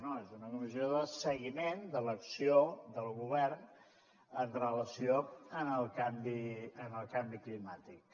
no és una comissió de seguiment de l’acció del govern en relació amb el canvi climàtic